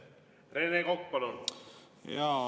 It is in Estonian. Rene Kokk, palun!